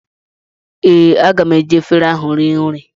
Ee, aga m eji efere ahụ rie nri